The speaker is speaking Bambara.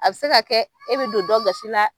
A bi se ka kɛ e bɛ don dɔn gasi la.